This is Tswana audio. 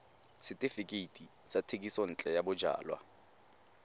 setefikeiti sa thekisontle ya bojalwa